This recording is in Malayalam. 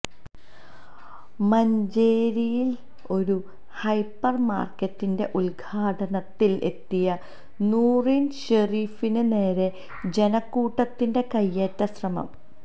മഞ്ചേരിയില് ഒരു ഹൈപ്പര് മാര്ക്കറ്റിന്റെ ഉദ്ഘാടനത്തിന് എത്തിയ നൂറിന് ഷെരീഫിന് നേരെ ജനക്കൂട്ടത്തിന്റെ കൈയേറ്റശ്രമം